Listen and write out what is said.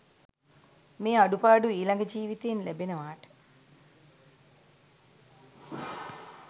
මේ අඩුපාඩු ඊළඟ ජීවිතයෙත් ලැබෙනවාට?